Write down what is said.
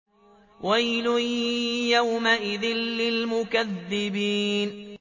وَيْلٌ يَوْمَئِذٍ لِّلْمُكَذِّبِينَ